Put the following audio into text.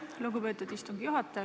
Lugupeetud istungi juhataja!